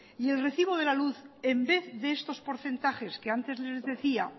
y el recibo de la luz en vez de estos porcentajes que antes les decía